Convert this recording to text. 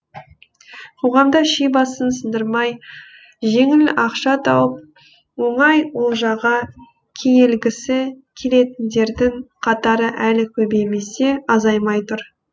қоғамда ши басын сындырмай жеңіл ақша тауып оңай олжаға кенелгісі келетіндердің қатары әлі көбеймесе азаймай тұр